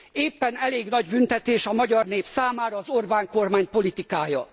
Éppen elég nagy büntetés a magyar nép számára az Orbán kormány politikája.